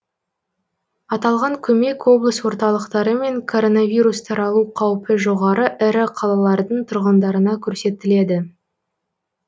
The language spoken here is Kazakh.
аталған көмек облыс орталықтары мен коронавирус таралу қаупі жоғары ірі қалалардың тұрғындарына көрсетіледі